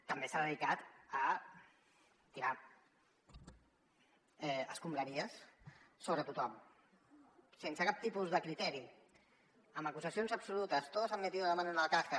també s’ha dedicat a tirar escombraries sobre tothom sense cap tipus de criteri amb acusacions absolutes todos han metido la mano en la caja